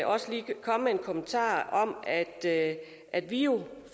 også lige komme med en kommentar om at at vi jo